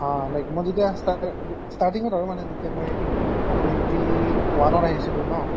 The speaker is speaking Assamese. অ অ like মই যেতিয়া স্তাৰ গো starting অত আৰু মানে যেতিয়া মই twenty one অত আহিছিলো ন